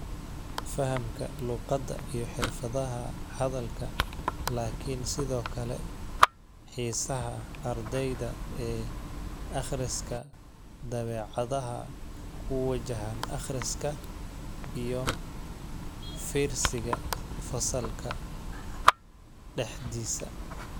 Fahamka luqadda iyo xirfadaha hadalka laakiin sidoo kale xiisaha ardayda ee akhriska, dabeecadaha ku wajahan akhriska iyo u fiirsiga fasalka dhexdiisa.